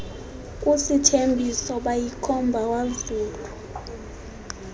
usithembiso bayikhomba kwazulu